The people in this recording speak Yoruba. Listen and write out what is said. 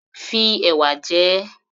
Fi ẹ̀wà jẹ ẹ́